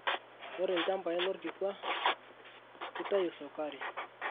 Ore lchambai lorkikwa kitayu sukari.